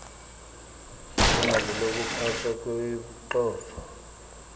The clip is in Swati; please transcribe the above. lilungelo lekuphatfwa ngebucotfo